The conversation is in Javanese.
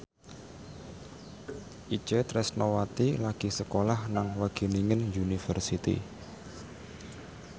Itje Tresnawati lagi sekolah nang Wageningen University